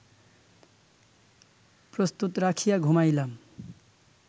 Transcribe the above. প্রস্তত রাখিয়া ঘুমাইলাম